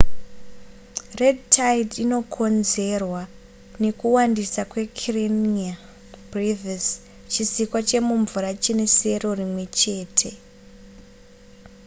red tide inokonzerwa nekuwandisa kwekarenia brevis chisikwa chemumvura chine sero rimwe chete